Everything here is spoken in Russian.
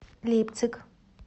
лейпциг